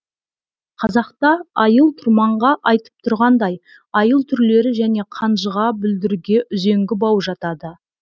қазақта айыл тұрманға айтып тұрғандай айыл түрлері және қанжыға бүлдірге үзеңгі бау жатады